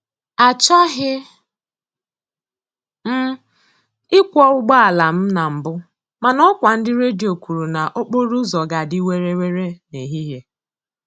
Achọghị m ịkwọ ụgbọala m na mbụ, mana ọkwa ndị redio kwuru na okporo ụzọ ga-adị were were n'ehihie